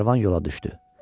Karvan yola düşdü.